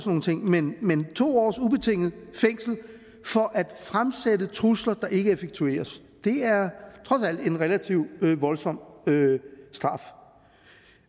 nogle ting men to års ubetinget fængsel for at fremsætte trusler der ikke effektueres er trods alt en relativt voldsom straf